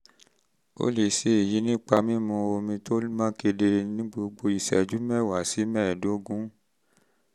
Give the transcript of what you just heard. ó lè ṣe èyí nípa mímu omi tó mọ́ kedere ní gbogbo ìṣẹ́jú mẹ́wàá sí mẹ́ẹ̀ẹ́dógún